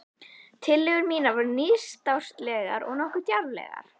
Tillögur mínar voru nýstárlegar og nokkuð djarflegar.